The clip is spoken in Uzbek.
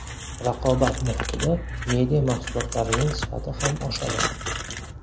Raqobat muhitida media mahsulotlarning sifati ham oshadi.